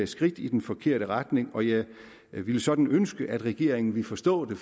skridt i den forkerte retning og jeg ville sådan ønske at regeringen ville forstå det